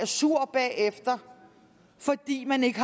sur bagefter fordi man ikke